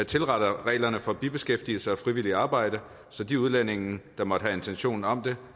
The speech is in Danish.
tilretter reglerne for bibeskæftigelse og frivilligt arbejde så de udlændinge der måtte have intentioner om det